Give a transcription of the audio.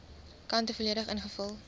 kante volledig ingevul